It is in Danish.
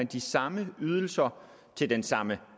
de samme ydelser til den samme